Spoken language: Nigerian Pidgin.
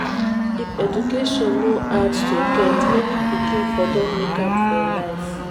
if education no hard to get many pikin for don make am for life.